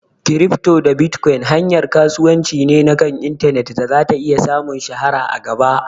Kirifto da bitkon hanyar kasuwanci ne na kan intanet da zata iya samun shahara a gaba